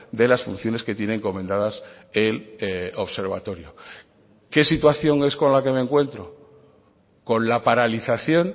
de las funciones que tiene encomendadas el observatorio qué situación es con la que me encuentro con la paralización